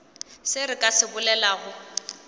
se re ka se bolelago